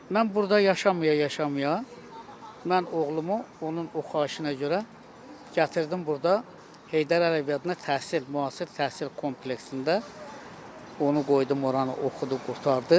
Mən burda yaşaya-yaşaya, mən oğlumu onun o xahişinə görə gətirdim burda Heydər Əliyev adına təhsil, müasir təhsil kompleksində onu qoydum, oranı oxudu, qurtardı.